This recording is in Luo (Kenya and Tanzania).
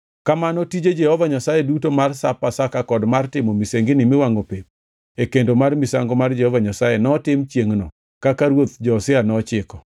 Kamano tije Jehova Nyasaye duto mar Sap Pasaka kod mar timo misengini miwangʼo pep e kendo mar misango mar Jehova Nyasaye notim chiengʼono, kaka ruoth Josia nochiko.